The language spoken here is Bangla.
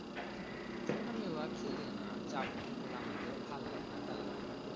আমি অ খেলিয়ে না যা বলবি বল আমাকে ভালো লাগেনা টাল লাগেনা